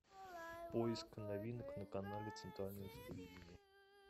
поиск новинок на канале центральное телевидение